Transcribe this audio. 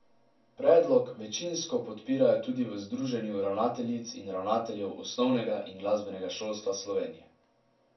Predlog večinsko podpirajo tudi v Združenju ravnateljic in ravnateljev osnovnega in glasbenega šolstva Slovenije.